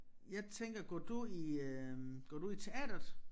Jeg tænker går du i øh går du i teatret?